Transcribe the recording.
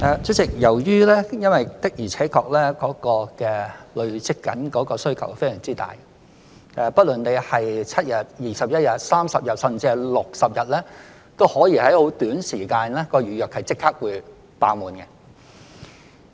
主席，由於社會上的確累積了非常大的需求，不論是容許提前7日、21日、30日，甚至60日預訂，都可能在很短時間內預約立即"爆滿"。